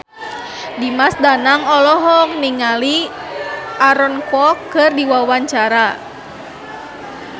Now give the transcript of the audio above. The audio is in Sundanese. Dimas Danang olohok ningali Aaron Kwok keur diwawancara